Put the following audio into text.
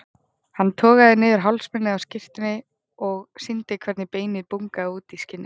Hann togaði niður hálsmálið á skyrtunni og sýndi hvernig beinið bungaði út í skinnið.